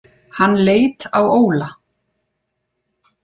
Hann leit á Óla.